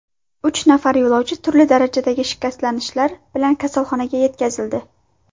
Uch nafar yo‘lovchi turli darajadagi shikastlanishlar bilan kasalxonaga yetkazildi.